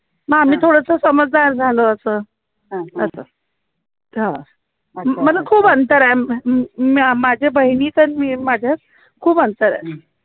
म आम्ही थोडंसं समजदार झालो असं असं खुप अंतर आहे माझ्या बहिणीचं आणि माझ्यात खूप अंतर आहे